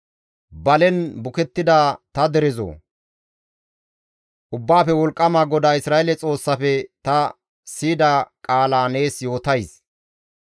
Balen bukettida ta derezoo! Ubbaafe Wolqqama GODAA Isra7eele Xoossafe ta siyida qaala nees yootays.